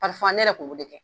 ne yɛrɛ kn b'o de kɛ.